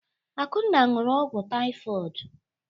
Akunna ṅụụrụ ogwu tịfodụ.